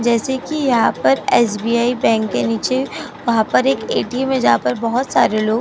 जैसे कि यहाँ पर एस.बी.आई बैंक के नीचे वहाँ पर एक ए.टी.एम है जहां पे बहुत सारे लोग --